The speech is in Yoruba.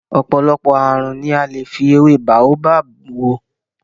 Ọ̀pọ̀lọpọ̀ ààrùn ni a lè fi ewé Baobab wò.